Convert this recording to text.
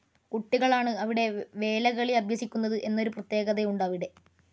കുട്ടികളാണ് അവിടെ വേലകളി അഭ്യസിക്കുന്നത് എന്നൊരു പ്രത്യേകതയുണ്ട് അവിടെ.